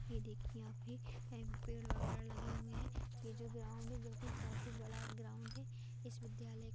ये देखिये यहाँ पे पेड़ वगेरा लगे हुए है ये जो ग्राउंड है जो की काफी बड़ा ग्राऊंड हैइस विद्यालय--